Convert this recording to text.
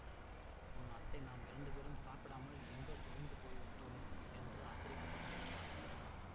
உன் அத்தை நாம் இரண்டு பேரும் சாப்பிடாமல் எங்கோ தொலைந்து போய் விட்டோம் என்று ஆச்சரியப்பட்டுக் கொண்டிருப்பாள் என்றார்